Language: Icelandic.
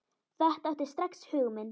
Þetta átti strax hug minn.